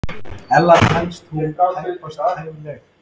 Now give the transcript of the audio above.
Ella telst hún tæpast hæfileg.